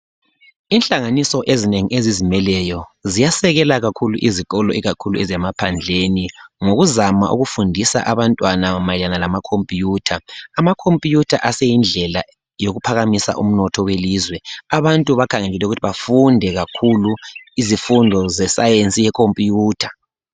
Inhlanganiso ezinengi ezizimeleyo ziyasekela kakhulu izikolo ikakhulu ezemphandleni ngokuzama ukufundisa abantwana mayelana lamakhompuyutha. Amakhompuyutha aseyindlela yokuphakamisa umnotho welizee abantu bakhangelelwe ukuthi bafunde kakhulu izifundo zesayensi yekhompuyutha.